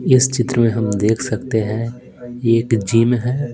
इस चित्र में हम देख सकते हैं एक जिम है।